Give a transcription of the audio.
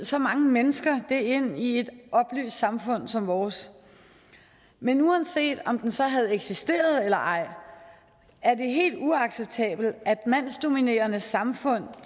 så mange mennesker det ind i et oplyst samfund som vores men uanset om den så havde eksisteret eller ej er det helt uacceptabelt at mandsdominerede samfund